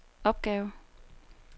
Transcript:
opgave